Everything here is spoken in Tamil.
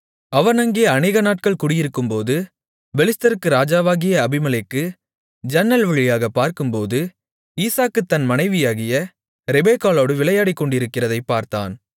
அவன் அங்கே அநேகநாட்கள் குடியிருக்கும்போது பெலிஸ்தருக்கு ராஜாவாகிய அபிமெலேக்கு ஜன்னல் வழியாகப் பார்க்கும்போது ஈசாக்கு தன் மனைவியாகிய ரெபெக்காளோடு விளையாடிக்கொண்டிருக்கிறதைப் பார்த்தான்